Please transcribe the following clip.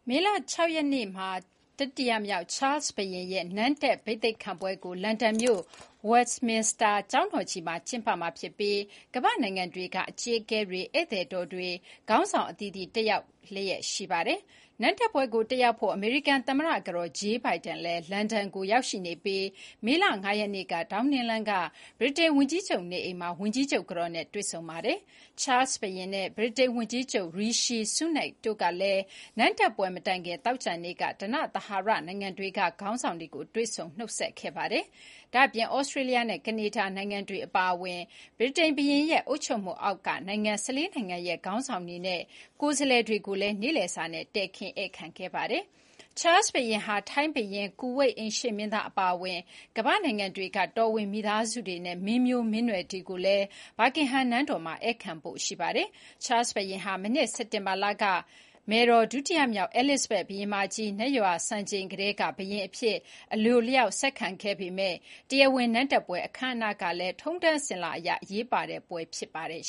မေလ ၆ ရက်နေ့မှာ တတိယမြောက်ချားလ်စ်ဘုရင်ရဲ့ နန်းတက် ဘိသိတ်ခံပွဲကို လန်ဒန်မြို့ ဝက်စ်မင်စတာ ကျောင်းတော်ကြီးမှာ ကျင်းပမှာဖြစ်ပြီး ကမ္ဘာ့နိုင်ငံတွေက အကြီးအကဲတွေ၊ ဧည့်သည်တော်တွေ ခေါင်းဆောင်အသီးသီးတက်ရောက်လျှက် ရှိပါတယ်။ နန်းတက်ပွဲကို တက်ရောက်ဖို့ အမေရိကန်သမ္မတ ကတော် ဂျေးလ်ဘိုင်ဒန်လည်း လန်ဒန်ကို ရောက်ရှိနေပြီး မေလ (၅) ရက်နေ့က ဒေါင်းနင်းလမ်း ဗြိတိန်ဝန်ကြီးချုပ်နေအိမ်မှာ ဝန်ကြီးချုပ်ကတော်နဲ့ တွေ့ဆုံခဲ့ပါတယ်။ ချားလ်စ်ဘုရင်နဲ့ ဗြိတိန်ဝန်ကြီးချုပ် ရီရှီဆူးနက်ခ် တို့ကလည်း နန်းတက်ပွဲမတိုင်ခင် သောကြာနေ့မှာ ဓနသဟာရနိုင်ငံတွေက ခေါင်းဆောင်တွေကို တွေ့ဆုံ နှုတ်ဆက်ခဲ့ပါတယ်။ ဒါ့အပြင် သြစတြေးလျနဲ့ ကနေဒါနိုင်ငံတွေ အပါအဝင် ဗြိတိန်ဘုရင်ရဲ့ အုပ်ချုပ်မှုအောက်က နိုင်ငံ ၁၄ နိုင်ငံရဲ့ ခေါင်းဆောင်တွေနဲ့ ကိုယ်စားလှယ်တွေကိုလည်း နေ့ခင်းစာနဲ့ တည်ခင်းဧည့်ခံခဲ့ပါတယ်။ ချားလ်စ်ဘုရင်ဟာ ထိုင်းဘုရင်၊ ကူဝိတ်အိမ်ရှေ့မင်းသား အပါအဝင် ကမ္ဘာ့နိုင်ငံတွေက တော်ဝင် မိသားစုတွေနဲ့ မင်းမျိုးမင်းနွယ်တွေကိုလည်း ဘာကင်ဟမ်နန်းတော်မှာ ဧည့်ခံဖို့ ရှိပါတယ်။ ချားလ်စ်ဘုရင်ဟာ မနှစ် စက်တင်ဘာလက မယ်တော် ဒုတိယမြောက် အဲလစ်ဇဘက် ဘုရင်မကြီး နတ်ရွာစံချိန်ကတည်းက ဘုရင်အဖြစ် အလိုအလျောက် ဆက်ခံခဲ့ပေမယ့် တရားဝင် နန်းတက်ပွဲ အခမ်းအနားကလည်း ထုံးတမ်းစဉ်လာအရ အရေးပါတဲ့ ပွဲ ဖြစ်ပါတယ်